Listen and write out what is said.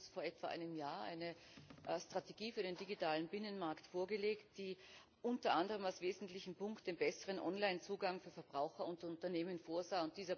Sie haben uns vor etwa einem Jahr eine Strategie für den digitalen Binnenmarkt vorgelegt, die unter anderem als wesentlichen Punkt den besseren Onlinezugang für Verbraucher und Unternehmen vorsah.